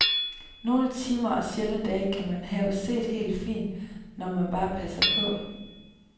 Nogle timer og sjældne dage kan man have set helt fint, når man bare passer på.